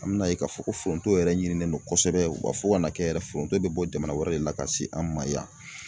An bɛ n'a ye k'a fɔ ko foronto yɛrɛ ɲinilen don kosɛbɛ wa fo ka na kɛ yɛrɛ foronto bɛ bɔ jamana wɛrɛ de la ka se an ma yan.